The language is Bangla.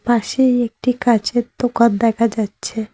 পাশে একটি কাচের দোকান দেখা যাচ্ছে।